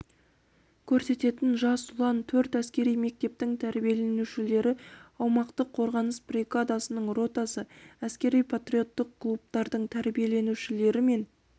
көрсететін жас ұлан төрт әскери мектептің тәрбиеленушілері аумақтық қорғаныс бригадасының ротасы әскери-патриоттық клубтардың тәрбиеленушілері мен